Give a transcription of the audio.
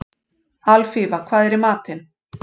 Alfífa, hvað er í matinn?